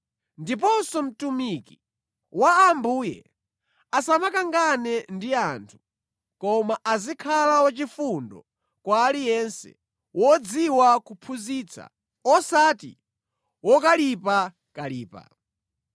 Ndiponso mtumiki wa Ambuye asamakangane ndi anthu, koma azikhala wachifundo kwa aliyense, wodziwa kuphunzitsa, osati wokalipakalipa.